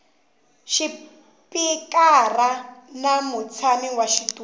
xipikara na mutshami wa xitulu